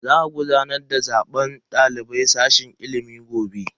Za a gudanar da zaben daliban sashen ilimi gobe.